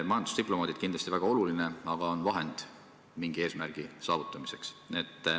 Majandusdiplomaadid on kindlasti väga olulised, aga nad on siiski vahendid mingi eesmärgi saavutamiseks.